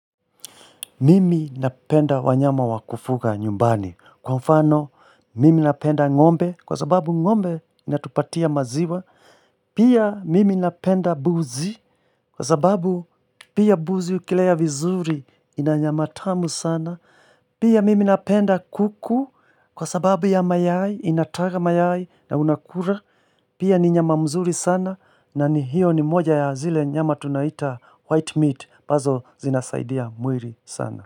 Mimi napenda wanyama wakufuga nyumbani. Kwa mfano, mimi napenda ng'ombe, kwa sababu ng'ombe inatupatia maziwa. Pia mimi napenda mbuzi, kwa sababu pia mbuzi ukilea vizuri ina nyama tamu sana. Pia mimi napenda kuku, kwa sababu ya mayai, inataga mayai na unakula. Pia ni nyama mzuri sana, na ni hiyo ni moja ya zile nyama tunaita white meat, ambazo zinasaidia mwili sana.